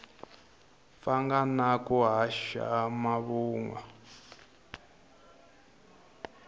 pfanga na ku haxa mavunwa